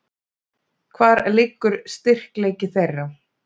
Hvar liggur styrkleiki þeirra?